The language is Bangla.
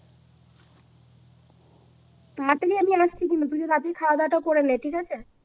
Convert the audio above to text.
তাড়াতাড়ি আমি আসছি কিন্তু তুই তাড়াতাড়ি খাওয়া দাওয়াটা করে নে ঠিক আছে